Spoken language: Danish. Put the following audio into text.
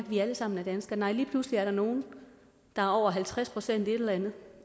vi alle sammen er danskere nej lige pludselig er der nogle der er over halvtreds procent et eller andet